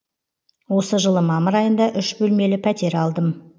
осы жылы мамыр айында үш бөлмелі пәтер алдым